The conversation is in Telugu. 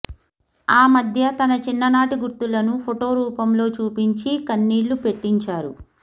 ఆ మధ్య తమ చిన్ననాటి గుర్తులను ఫోటో రూపంలో చూపించి కన్నీళ్ళు పెట్టించారు